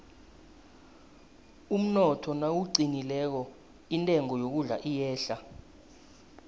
umnotho nawuqinileko intengo yokudla iyehla